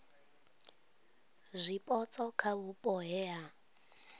zwipotso kha vhupo he ha